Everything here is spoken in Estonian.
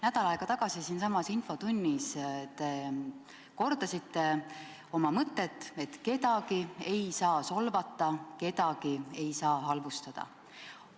Nädal aega tagasi siinsamas infotunnis te kordasite oma mõtet, et kedagi ei tohi solvata, kedagi ei tohi halvustada.